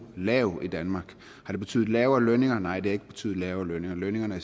lav i danmark har det betydet lavere lønninger nej det har ikke betydet lavere lønninger lønningerne